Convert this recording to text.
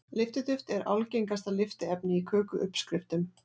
Lyftiduft er algengasta lyftiefni í kökuuppskriftum.